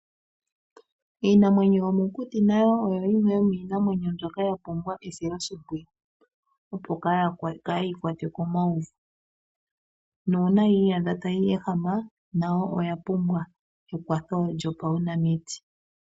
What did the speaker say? Iinamwenyo yomokuti oyo yimwe yomiinamwenyo mbyoka ya pumbwa esiloshimpwiyu opo kaayi kwatwe komauvu nuuna yi iyadha tayi ehama nayo oya pumbwa ekwatho lyopaunamiti.